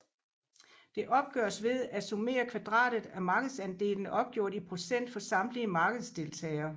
Det opgøres ved at summere kvadratet af markedsandelene opgjort i procent for samtlige markedsdeltagere